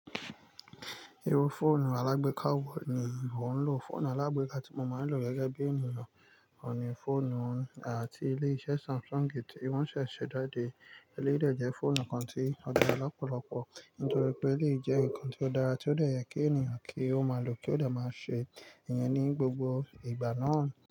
Irú fóònù alágbéka wò ní ìwọ ń lò? Fóònù alágbéka tí mo máa ń lò gẹ́gẹ́ bí ènìyàn oun ni fóònù ti ilé-iṣẹ́ Samsung ti Wọ́n ṣẹ̀ ṣee jade Eléyìí jẹ́ fóònù kan tí ó dára lọ́pọ̀lọpọ̀ nítorí pé eléyìí jẹ́ ǹkan tí ó dára tí ó de yẹ kí ènìyàn kí ó máa lò kí ó de máa ṣe ìyẹn ní gbogbo ìgbà náà.